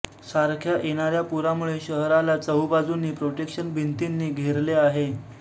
सारख्या येणाऱ्या पुरामुळे शहराला चहूबाजूंनी प्रोटेक्शन भिंतींनी घेरले आहे